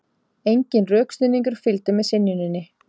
Enginn rökstuðningur fylgdi með synjuninni